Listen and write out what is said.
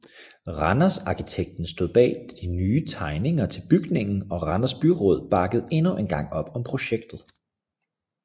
Randers Arkitekten stod bag de nye tegninger til bygningen og Randers byråd bakkede endnu engang op om projektet